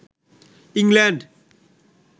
England